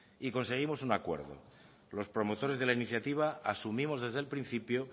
y conseguimos un acuerdo los promotores de la iniciativa asumimos desde el principio